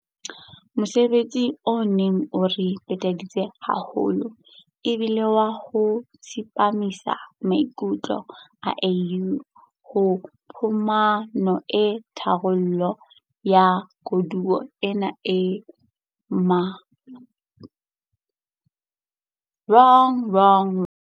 Mosebetsi o neng o re peteditse haholo e bile wa ho tsepamisa maikutlo a AU ho phumano ya tharollo ya koduwa ena e mpehadi ka ho fetisisa lefatshe ka bophara dilemong tse fetang tse le kgolo tse fetileng.